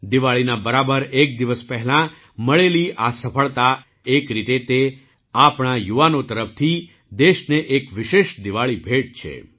દિવાળીના બરાબર એક દિવસ પહેલાં મળેલી આ સફળતા એક રીતે તે આપણા યુવાનો તરફથી દેશને એક વિશેષ દિવાળી ભેટ છે